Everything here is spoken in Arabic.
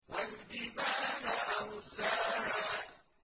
وَالْجِبَالَ أَرْسَاهَا